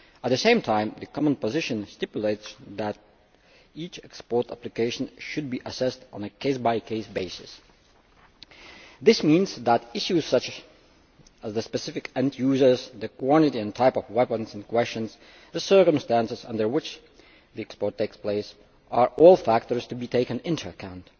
At the same time the common position stipulates that each export application should be assessed on a case by case basis. This means that issues such as the specific end users, the quantity and type of weapons and the circumstances under which the export takes place are all factors to be taken into account.